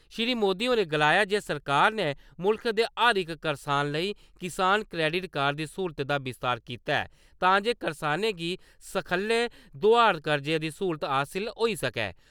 श्री मोदी होरें गलाया जे सरकार ने मुल्ख दे हर इक करसान लेई किसान क्रेडिट कार्ड दी स्कूलत दा विस्तार कीता ऐ तां जे करसानें गी सखल्ले दोआर कर्जे दी स्हूलत हासल होई सकै।